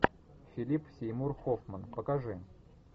филип сеймур хоффман покажи